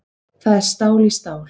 Það er stál í stál